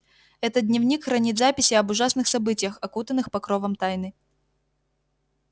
этот дневник хранит записи об ужасных событиях окутанных покровом тайны